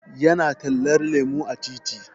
Ya na tallar lemu a titi